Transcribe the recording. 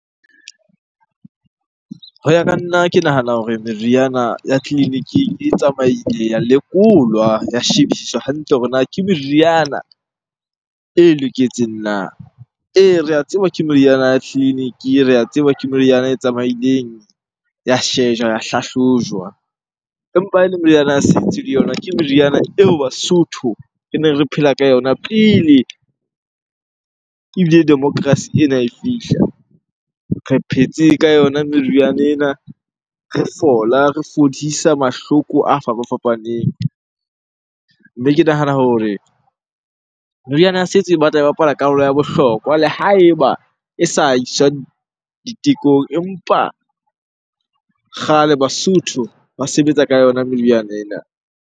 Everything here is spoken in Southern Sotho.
Ho ya ka nna ke nahana hore meriana ya tleliniking e tsamaile ya lekolwa, ya shebisiswe hantle hore na ke meriana e loketseng na? Ee, re a tseba ke meriana ya tleliniki, re a tseba ke meriana e tsamaileng ya shejwa, ya hlahlojwa. Empa ha ele meriana ya setso le yona ke meriana eo Basotho reneng re phela ka yona pele ebile democracy ena e fihla. Re phetse ka yona meriana ena, re fola, re fodisa mahloko a fapafapaneng. Mme ke nahana hore meriana ya setso e batla e bapala karolo ya bohlokwa le ha eba e sa iswang ditekong empa kgale Basotho ba sebetsa ka yona meriana ena.